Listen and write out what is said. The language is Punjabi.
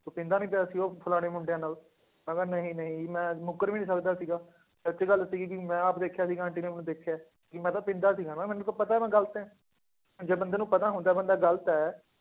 ਤੂੰ ਪੀਂਦਾ ਨੀ ਪਿਆ ਸੀ ਉਹ ਫਲਾਣੇ ਮੁੰਡਿਆਂ ਨਾਲ, ਮੈਂ ਕਿਹਾ ਨਹੀਂ ਨਹੀਂ ਮੈਂ ਮੁੱਕਰ ਵੀ ਨੀ ਸਕਦਾ ਸੀਗਾ, ਸੱਚੀ ਗੱਲ ਸੀਗੀ ਕਿ ਮੈਂ ਆਪ ਦੇਖਿਆ ਸੀਗਾ ਆਂਟੀ ਨੇ ਮੈਨੂੰ ਦੇਖਿਆ ਹੈ, ਕਿ ਮੈਂ ਤਾਂ ਪੀਂਦਾ ਸੀਗਾ ਨਾ ਮੈਨੂੰ ਤਾਂ ਪਤਾ ਮੈਂ ਗ਼ਲਤ ਹੈ, ਜੇ ਬੰਦੇ ਨੂੰ ਪਤਾ ਹੁੰਦਾ ਹੈ ਬੰਦਾ ਗ਼ਲਤ ਹੈ